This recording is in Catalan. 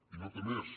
i no té més